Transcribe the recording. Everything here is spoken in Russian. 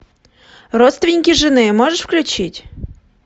родственники жены можешь включить